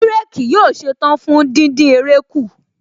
Bírèkì yóò ṣetán fún díndín eré kù